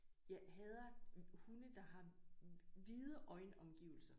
Jeg hader hunde der har hvide øjen omgivelser